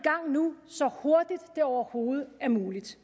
nu i så hurtigt det overhovedet er muligt